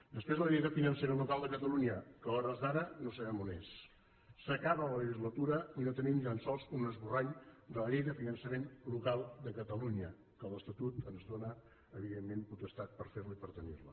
després la llei de finançament local de catalunya que a hores d’ara no sabem on és s’acaba la legislatura i no tenim ni tan sols un esborrany de la llei de finançament local de catalunya que l’estatut ens dóna evidentment potestat per fer la i per tenir la